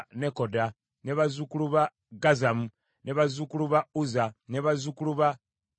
bazzukulu ba Gazzamu, bazzukulu ba Uzza, bazzukulu ba Paseya,